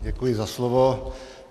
Děkuji za slovo.